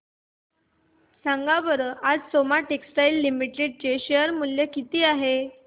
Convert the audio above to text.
सांगा बरं आज सोमा टेक्सटाइल लिमिटेड चे शेअर चे मूल्य किती आहे